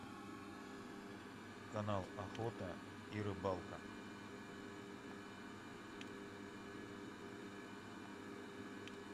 канал охота и рыбалка